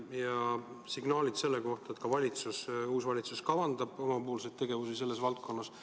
Ja on ka signaalid, et uus valitsus kavandab omapoolseid tegevusi selles vallas.